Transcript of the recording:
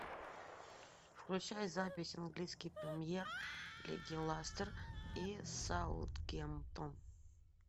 включай запись английской премьер лиги лестер и саутгемптон